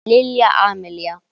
Lilja Amalía.